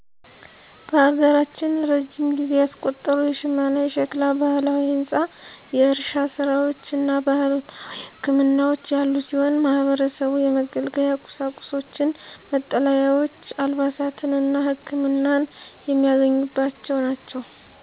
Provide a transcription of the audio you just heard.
በሀገራችን እረጅም ጊዜ ያስቆጠሩ የሽመና፣ የሸክላ፣ ባህላዊ ህንፃ፣ የእርሻ ስራዎች እና ባህላዊ ህክምናዎች ያሉ ሲሆን ማህበረሰቡ የመገልገያ ቁሳቁሶችን፣ መጠለያዎች፣ አልባሳትን እና ህክመናን የሚያገኝባቸው ናቸው።